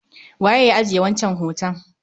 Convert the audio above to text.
Waye ya ajiye wancan hoton?